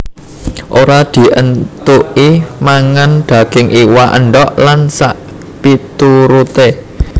Ora dientuki mangan daging iwak endog lan sakpituruté